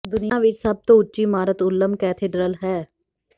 ਦੁਨੀਆ ਵਿਚ ਸਭ ਤੋਂ ਉੱਚੀ ਇਮਾਰਤ ਉੱਲਮ ਕੈਥੇਡ੍ਰਲ ਹੈ